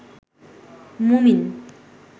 মুমিন